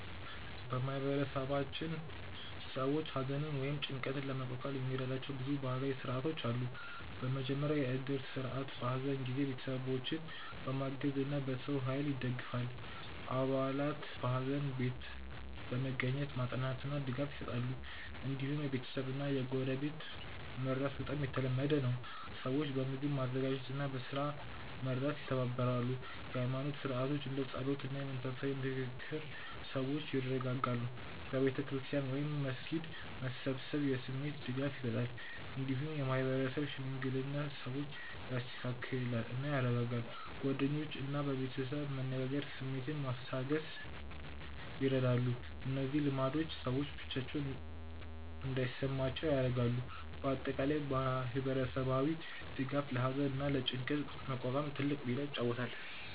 በማህበረሰባችን ሰዎች ሐዘንን ወይም ጭንቀትን ለመቋቋም የሚረዷቸው ብዙ ባህላዊ ሥርዓቶች አሉ። በመጀመሪያ የእድር ስርዓት በሐዘን ጊዜ ቤተሰቦችን በገንዘብ እና በሰው ኃይል ይደግፋል። አባላት በሐዘን ቤት በመገኘት ማጽናኛ እና ድጋፍ ይሰጣሉ። እንዲሁም የቤተሰብ እና የጎረቤት መርዳት በጣም የተለመደ ነው። ሰዎች በምግብ ማዘጋጀት እና በስራ መርዳት ይተባበራሉ። የኃይማኖት ሥርዓቶች እንደ ጸሎት እና የመንፈሳዊ ምክር ሰዎችን ያረጋጋሉ። በቤተ ክርስቲያን ወይም መስጊድ መሰብሰብ የስሜት ድጋፍ ይሰጣል። እንዲሁም የማህበረሰብ ሽምግልና ሰዎችን ያስተካክላል እና ያረጋጋል። ጓደኞች እና ቤተሰብ መነጋገር ስሜትን ማስታገስ ይረዳሉ። እነዚህ ልማዶች ሰዎች ብቻቸውን እንዳይሰማቸው ያደርጋሉ። በአጠቃላይ ማህበረሰባዊ ድጋፍ ለሐዘን እና ለጭንቀት መቋቋም ትልቅ ሚና ይጫወታል።